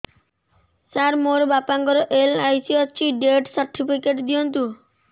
ସାର ମୋର ବାପା ଙ୍କର ଏଲ.ଆଇ.ସି ଅଛି ଡେଥ ସର୍ଟିଫିକେଟ ଦିଅନ୍ତୁ